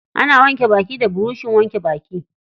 Ana wanke baki da burushin wanke baki.